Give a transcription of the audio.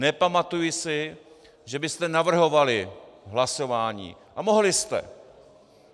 Nepamatuji si, že byste navrhovali hlasování, a mohli jste.